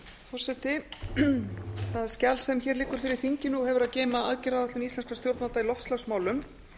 forseti það skjal sem hér liggur fyrir þinginu og hefur að geyma aðgerðaáætlun íslenskra stjórnvalda í loftslagsmálum